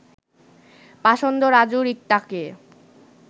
পাষণ্ড রাজু রিক্তাকে